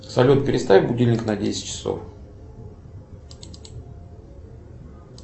салют переставь будильник на десять часов